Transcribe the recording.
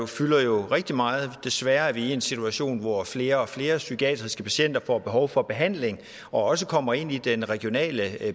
fylder jo rigtig meget desværre er vi i en situation hvor flere og flere psykiatriske patienter får behov for behandling og også kommer ind i den regionale